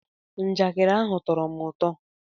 Njakịrị ndị ahụ tọrọ m ụtọ